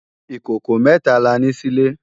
Ikókó mètá lá ni silé